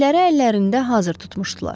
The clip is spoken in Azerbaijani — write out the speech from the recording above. Tüfəngləri əllərində hazır tutmuşdular.